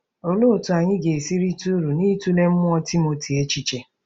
Olee otú anyị ga-esi rite uru n’ịtụle mmụọ Timoti echiche?